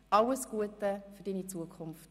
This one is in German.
Alles Gute für deine Zukunft.